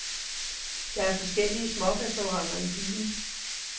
Der er forskellige smårestauranter i byen.